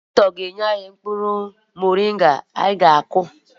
Dọkịta ga-enye anyị mkpụrụ moringa anyị ga-akụ.